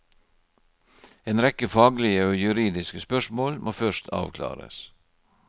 En rekke faglige og juridiske spørsmål må først avklares.